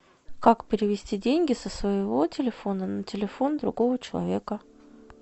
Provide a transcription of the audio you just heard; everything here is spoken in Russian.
как перевести деньги со своего телефона на телефон другого человека